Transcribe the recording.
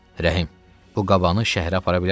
Rəhim, bu qabanı şəhərə apara bilərsənmi?